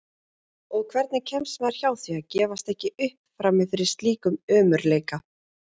Og hvernig kemst maður hjá því að gefast ekki upp frammi fyrir slíkum ömurleika?